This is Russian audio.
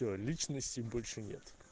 всё личности больше нет